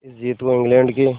इस जीत को इंग्लैंड के